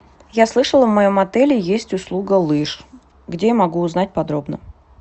я слышала в моем отеле есть услуга лыж где я могу узнать подробно